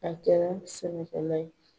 A kɛra sɛnɛkɛla ye.